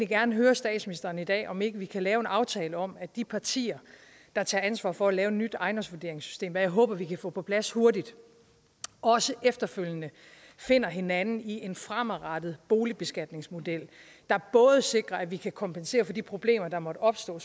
gerne høre statsministeren i dag om ikke vi kan lave en aftale om at de partier der tager ansvar for at lave et nyt ejendomsvurderingssystem hvad jeg håber vi kan få på plads hurtigt også efterfølgende finder hinanden i en fremadrettet boligbeskatningsmodel der både sikrer at vi kan kompensere for de problemer der måtte opstå